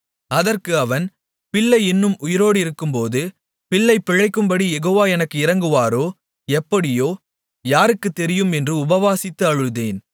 அதற்கு அவன் பிள்ளை இன்னும் உயிரோடிருக்கும்போது பிள்ளை பிழைக்கும்படிக் யெகோவா எனக்கு இரங்குவாரோ எப்படியோ யாருக்குத் தெரியும் என்று உபவாசித்து அழுதேன்